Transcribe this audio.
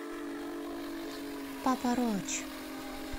папа роч